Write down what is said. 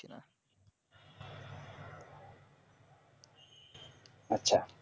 আচ্ছা